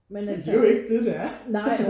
Ja men det er jo ikke det det er